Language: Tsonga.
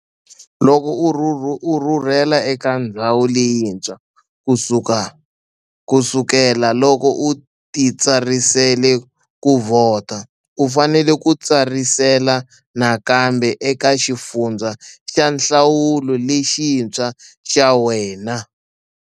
Loko u rhurhele eka ndhawu leyintshwa ku sukela loko u titsarisele ku vhota, u fanele u titsarisela nakambe eka xifundza xa nhlawulo lexintshwa xa wena.